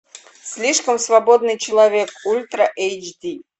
слишком свободный человек ультра эйч ди